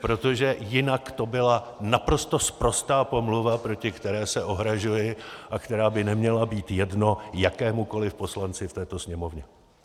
Protože jinak to byla naprosto sprostá pomluva, proti které se ohrazuji a která by neměla být jedno jakémukoli poslanci v této Sněmovně.